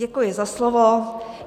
Děkuji za slovo.